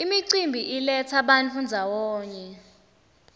imicimbi iletsa bantfu ndzawonye